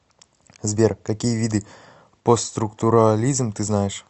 сбер какие виды постструктурализм ты знаешь